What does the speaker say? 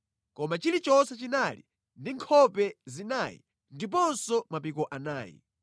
koma chilichonse chinali ndi nkhope zinayi ndiponso mapiko anayi.